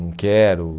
Não quero.